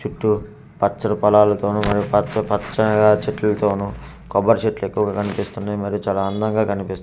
చుట్టు పచ్చటి పొలాలతోను మరియు పచ్చ పచ్చ చెట్లు తోను కొబ్బరి చెట్లు ఎక్కువగా కనిపిస్తున్నాయి మరి చాలా అందంగా కనిపిస్తుంది ఇక్క--